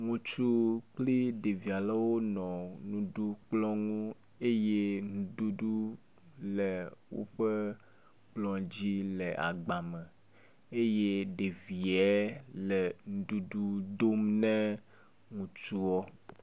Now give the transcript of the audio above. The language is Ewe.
Ŋutsu kpli ɖevi alewo nɔ nuɖukplɔ ŋu eye nuɖuɖu le woƒe kplɔ dzi le agba me eye ɖevie le nuɖuɖu dom ne ŋutsuɔ.